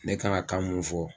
Ne ka kan mun fɔ